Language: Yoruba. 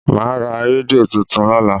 Màá ra rédíò tuntun lọ́la.